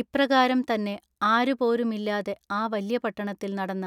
ഇപ്രകാരം തന്നെ ആരുപോരുമില്ലാതെ ആ വല്യപട്ടണത്തിൽ നടന്ന